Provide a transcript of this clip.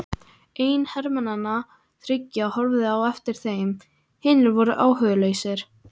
Einn hermannanna þriggja horfði á eftir þeim, hinir voru áhugalausir.